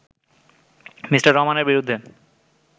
Me. রহমানের বিরুদ্ধে